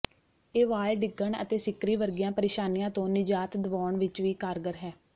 ਇਹ ਵਾਲ ਡਿੱਗਣ ਅਤੇ ਸਿੱਕਰੀ ਵਰਗੀਆਂ ਪਰੇਸ਼ਾਨੀਆਂ ਤੋਂ ਨਿਜਾਤ ਦਵਾਉਣ ਵਿੱਚ ਵੀ ਕਾਰਗਰ ਹੈ